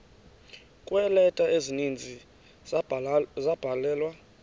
kweeleta ezininzi ezabhalelwa